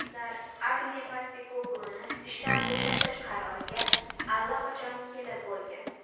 Ular Ange Postekogluni ishdan bo‘shatish qaroriga allaqachon kelib bo‘lgan.